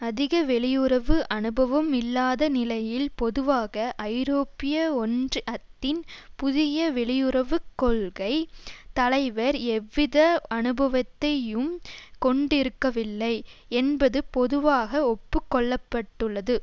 அதிக வெளியுறவு அனுபவம் இல்லாத நிலையில் பொதுவாக ஐரோப்பிய ஒன்றியத்தின் புதிய வெளியுறவு கொள்கை தலைவர் எவ்வித அனுபவத்தையும் கொண்டிருக்கவில்லை என்பது பொதுவாக ஒப்பு கொள்ள பட்டுள்ளது